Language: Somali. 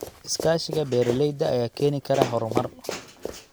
Iskaashiga beeralayda ayaa keeni kara horumar.